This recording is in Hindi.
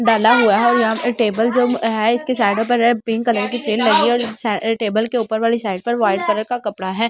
डाला हुआ है और यहां पे टेबल जो है इसके साइडों पर है पिंक कलर की चैन लगी और सारे टेबल के ऊपर वाली साइड पर व्हाइट कलर का कपड़ा है।